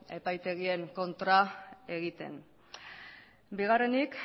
epaitegien kontra egiten bigarrenik